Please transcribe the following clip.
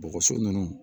Bɔgɔso ninnu